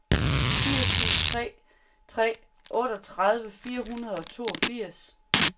fire syv tre tre otteogtredive fire hundrede og toogfirs